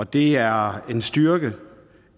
det er en styrke